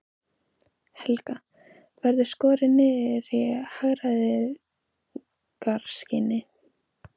Helga: Verður skorið niður í hagræðingarskyni?